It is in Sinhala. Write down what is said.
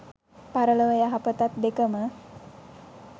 පරලොව යහපතත් දෙකම